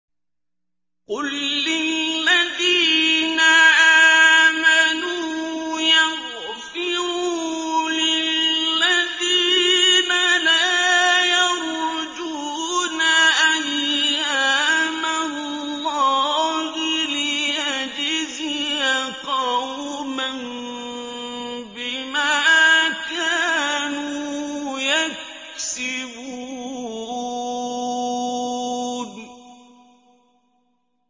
قُل لِّلَّذِينَ آمَنُوا يَغْفِرُوا لِلَّذِينَ لَا يَرْجُونَ أَيَّامَ اللَّهِ لِيَجْزِيَ قَوْمًا بِمَا كَانُوا يَكْسِبُونَ